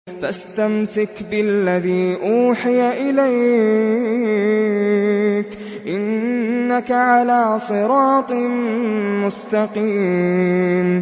فَاسْتَمْسِكْ بِالَّذِي أُوحِيَ إِلَيْكَ ۖ إِنَّكَ عَلَىٰ صِرَاطٍ مُّسْتَقِيمٍ